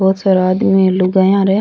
बहुत सारा आदमी लुगाया र है।